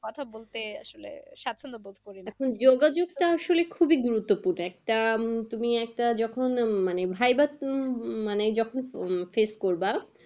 কথা বলতে আসলে, স্বাচ্ছন্দ বোধ করিনা, যোগাযোগ টা আসলে খুবই গুরুত্বপূর্ণ তা তুমি একটা যখন মানে viva উম মানে যখন face করবা।